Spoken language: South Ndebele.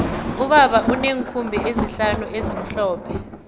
ubaba uneenkhumbi ezihlanu ezimhlophe